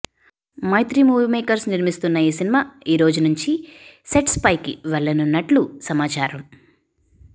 మైత్రీ movie makers నిర్మిస్తున్న ఈ cinema ఈ రోజు నుంచి సెట్స్పైకి వెళ్లనున్నట్లు సమాచారం